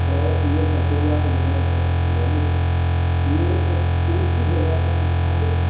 और ये प्रतिमा जो है बहुत बड़ी है। ये एक ऊंची जगह पर स्थापित है।